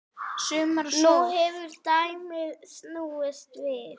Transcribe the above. Nú hefur dæmið snúist við.